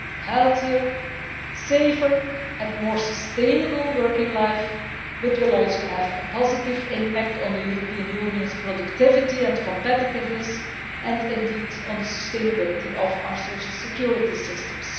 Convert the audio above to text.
healthier, safer and more sustainable working lives but will also have a positive impact on the European Union's productivity and competitiveness, and indeed on the sustainability of our social security systems.